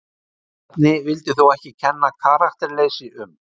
Bjarni vill þó ekki kenna karakterleysi um.